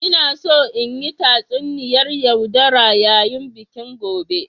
Ina so in yi tatsuniyar yaudara yayin bikin gobe.